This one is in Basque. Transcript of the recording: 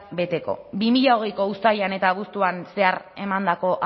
beteko bi mila hogeiko uztailean eta abuztuan zehar emandako